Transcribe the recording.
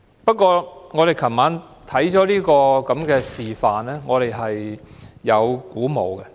不過，我們昨晚參觀這個示範後，我們仍然感到鼓舞。